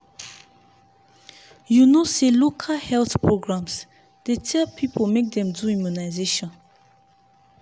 you know say local health programs dey tell people make dem do immunization.